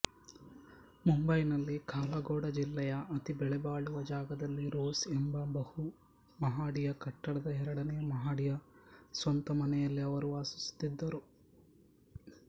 ಮುಂಬೈನಲ್ಲಿ ಕಾಲಾಘೋಡಾ ಜಿಲ್ಲೆಯ ಅತಿಬೆಲೆಬಾಳುವ ಜಾಗದಲ್ಲಿ ರೋಸ್ ಎಂಬ ಬಹುಮಹಡಿಯಕಟ್ಟಡದ ಎರಡನೆಯ ಮಹಡಿಯ ಸ್ವಂತ ಮನೆಯಲ್ಲಿ ಅವರು ವಾಸಿಸುತ್ತಿದ್ದರು